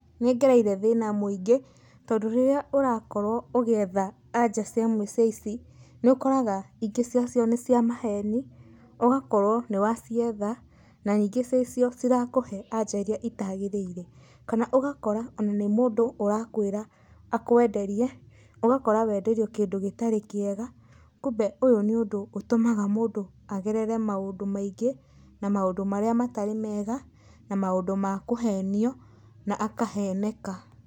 Nĩ ngereire thĩna mwĩingĩ, tondũ rĩrĩa ũrakorwo ũgĩetha anja cai muico ici, nĩ ũkoraga ingĩ ciacio nĩ maheni, ũgakorwo nĩ wacietha na ningĩ ciacio cirakũhe anja iria itagĩrĩire. Kana ũgakora ona nĩ mũndũ ũrakwĩra akwenderie, ũgakora wenderio kĩndũ gĩtarĩ kĩega, kumbe ũyũ nĩ ũndũ ũtũmaga mũndũ agerere maũndũ maingĩ, na maũndũ marĩa matarĩ mega, na maũndũ ma kũhenio, na akaheneka.